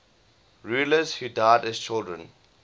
rulers who died as children